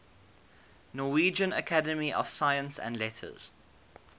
norwegian academy of science and letters